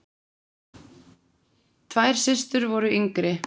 Tvær systur voru yngri.